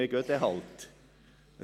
Ja, dann gehen wir eben.